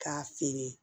K'a feere